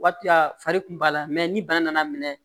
Waati la fari kun b'a la ni bana nana minɛ